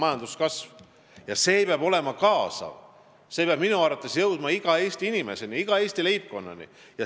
Ja see kasv peab olema kaasav: see peab minu arvates jõudma iga Eesti inimeseni, iga Eesti leibkonnani.